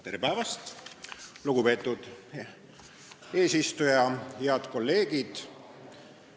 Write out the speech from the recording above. Tere päevast, lugupeetud eesistuja ja head kolleegid!